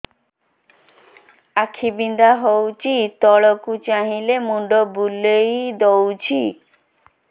ଆଖି ବିନ୍ଧା ହଉଚି ତଳକୁ ଚାହିଁଲେ ମୁଣ୍ଡ ବୁଲେଇ ଦଉଛି